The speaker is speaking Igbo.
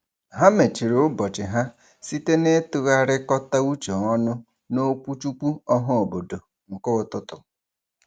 Ha mechiri ụbọchị ha site n'ịtụgharịkọta uche ọnụ n'okwuchukwu ọhaobodo nke ụtụtụ.